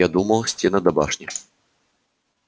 я думал стены да башни